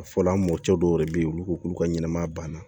A fɔla an mɔkɛ dɔw yɛrɛ bɛ yen olu ko k'olu ka ɲɛnɛmaya banna